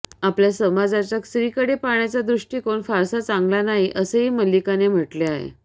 आपल्या समाजाचा स्त्रीकडे पाहण्याचा दृष्टीकोन फारसा चांगला नाही असेही मल्लिकाने म्हटले आहे